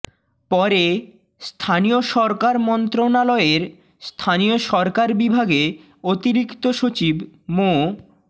পরে স্থানীয় সরকার মন্ত্রণালয়ের স্থানীয় সরকার বিভাগে অতিরিক্ত সচিব মো